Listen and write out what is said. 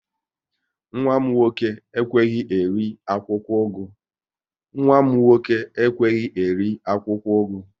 Nwa m nwoke ekweghị eri akwụkwọ ugu